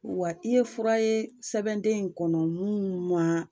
Wa i ye fura ye sɛbɛnden in kɔnɔ mun ma,